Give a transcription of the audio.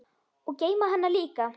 Og geyma hana líka.